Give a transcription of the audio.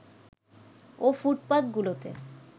ও ফুটপাতগুলোতে